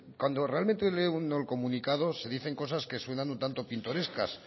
cuando realmente lee uno el comunicado se dicen cosas que suenan un tanto pintorescas